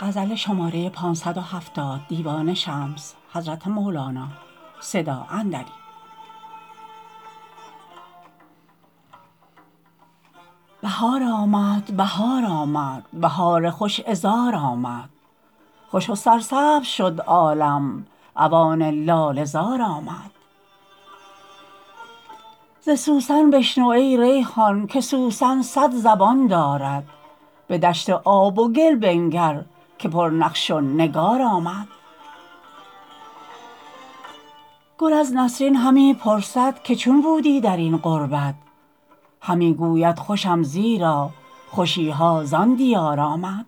بهار آمد بهار آمد بهار خوش عذار آمد خوش و سرسبز شد عالم اوان لاله زار آمد ز سوسن بشنو ای ریحان که سوسن صد زبان دارد به دشت آب و گل بنگر که پرنقش و نگار آمد گل از نسرین همی پرسد که چون بودی در این غربت همی گوید خوشم زیرا خوشی ها زان دیار آمد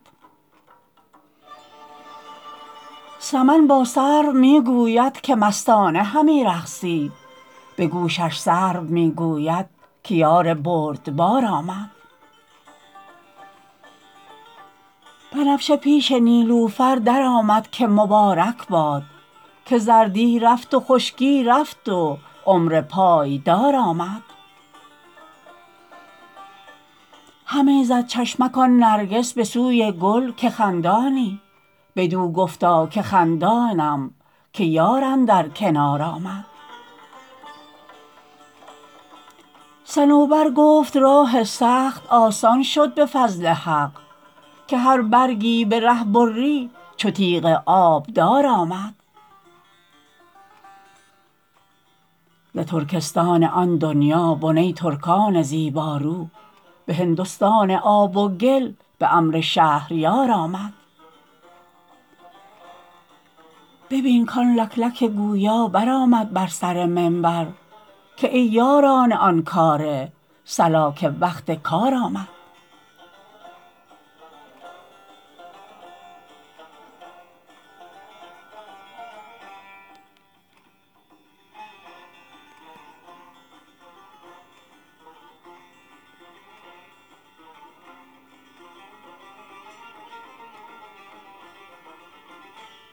سمن با سرو می گوید که مستانه همی رقصی به گوشش سرو می گوید که یار بردبار آمد بنفشه پیش نیلوفر درآمد که مبارک باد که زردی رفت و خشکی رفت و عمر پایدار آمد همی زد چشمک آن نرگس به سوی گل که خندانی بدو گفتا که خندانم که یار اندر کنار آمد صنوبر گفت راه سخت آسان شد به فضل حق که هر برگی به ره بری چو تیغ آبدار آمد ز ترکستان آن دنیا بنه ترکان زیبارو به هندستان آب و گل به امر شهریار آمد ببین کان لکلک گویا برآمد بر سر منبر که ای یاران آن کاره صلا که وقت کار آمد